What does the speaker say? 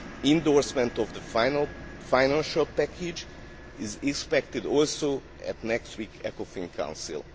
Endorsement of the final financial package is also expected at next week's Ecofin Council.